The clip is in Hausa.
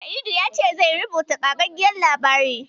Sa'idu ya ce zai rubuta ƙagaggen labari.